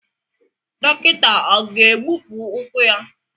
Dọkịta ọ ga-egbupụ ụkwụ ya?